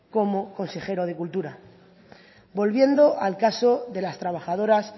como consejero de cultura volviendo al caso de las trabajadoras